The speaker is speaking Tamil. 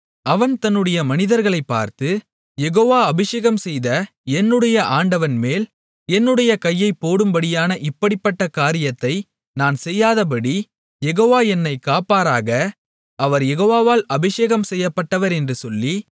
அவன் தன்னுடைய மனிதர்களைப் பார்த்து யெகோவா அபிஷேகம்செய்த என்னுடைய ஆண்டவன்மேல் என்னுடைய கையைப் போடும்படியான இப்படிப்பட்ட காரியத்தை நான் செய்யாதபடி யெகோவா என்னைக் காப்பாராக அவர் யெகோவாவால் அபிஷேகம்செய்யப்பட்டவர் என்று சொல்லி